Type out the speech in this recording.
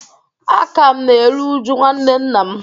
A ka m na-eru uju nwanne nna m